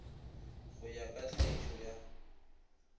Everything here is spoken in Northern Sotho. go ya ka tlhagišo ya